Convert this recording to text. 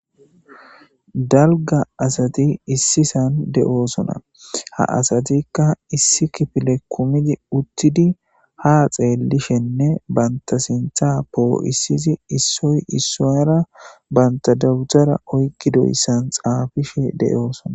Dalga assati issi san de'osona, ha asatika issi kifile kumidibutidi ha xeelishenne bant sintha po'isidi issoy issuwara banta dawutare oykidaysanni xaafishe de'osona.